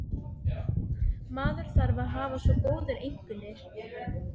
Maður þarf að hafa svo góðar einkunnir.